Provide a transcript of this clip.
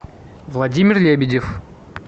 владимир лебедев